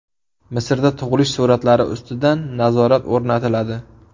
Misrda tug‘ilish sur’atlari ustidan nazorat o‘rnatiladi.